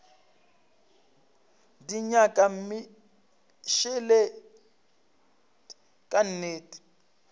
di nyaka mmešelet ka nnete